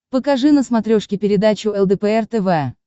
покажи на смотрешке передачу лдпр тв